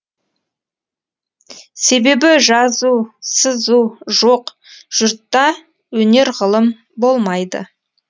себебі жазу сызу жоқ жұртта өнер ғылым болмайды